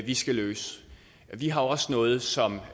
vi skal løse og vi har også noget som